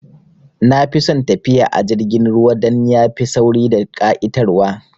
Nafi son tafiya a jirgin ruwa dan yafi sauri da ƙa'itar wa